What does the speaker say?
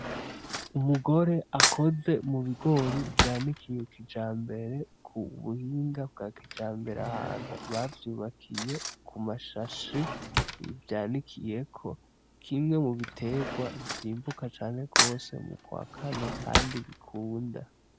Umugore akoze mubigori vyanikiye kijambere kubuhinga bwa kijambere ahantu bavyubakiye kumashashi vyanikiyeko. Kimwe mubitegwa vyimbuka cane gose mukwa kane kandi bikunda.